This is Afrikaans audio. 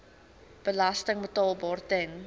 belasting betaalbaar ten